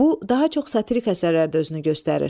Bu daha çox satirik əsərlərdə özünü göstərir.